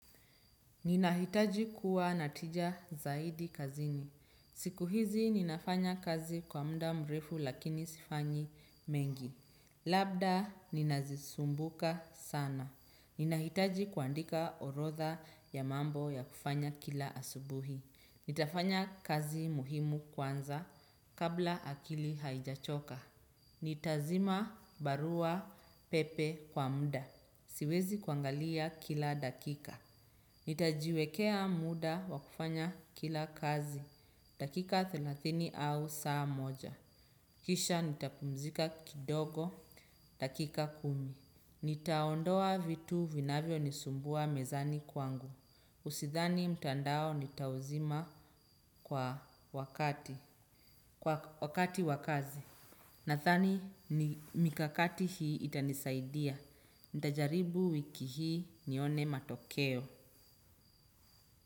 Nina hitaji kuwa na tija zaidi kazini. Siku hizi ninafanya kazi kwa mda mrefu lakini sifanyi mengi. Labda ninazi sumbuka sana. Nina hitaji kuandika orodha ya mambo ya kufanya kila asubuhi. Nitafanya kazi muhimu kwanza kabla akili haijachoka. Nitazima barua pepe kwa muda. Siwezi kuangalia kila dakika. Nitajiwekea muda wakufanya kila kazi. Dakika thelathini au saa moja kisha nitakumzika kidogo. Dakika kumi nitaondoa vitu vinavyo nisumbua mezani kwangu Usidhani mtandao nitauzima kwa wakati wa kazi. Nadhani mikakati hii itanisaidia. Nitajaribu wiki hii nione matokeo.